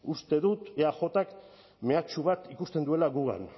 uste dut eajk mehatxu bat ikusten duela gugan